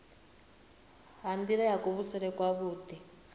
ha nila ya kuvhusele kwavhui